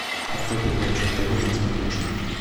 открой передачу нтв на смотрешке